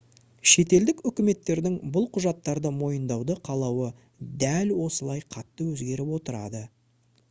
шетелдік үкіметтердің бұл құжаттарды мойындауды қалауы дәл осылай қатты өзгеріп отырады